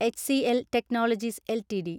HCL Technologies LTD